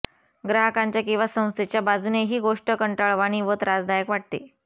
ग्राहकांच्या किंवा संस्थेच्या बाजूने ही गोष्ट कंटाळवाणी व त्रासदायक वाटते